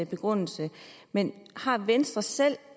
begrundelse men har venstre selv